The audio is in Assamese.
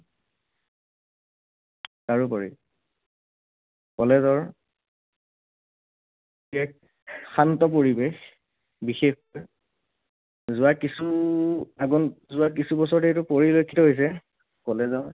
তাৰোপৰি college ৰ সেই শান্ত পৰিৱেশ, বিশেষকৈ যোৱা কিছু, যোৱা কিছু বছৰ ধৰি এইটো পৰিলক্ষিত হৈছে college ত